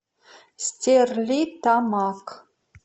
стерлитамак